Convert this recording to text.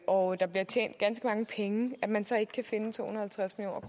og der bliver tjent ganske mange penge at man så ikke kan finde to hundrede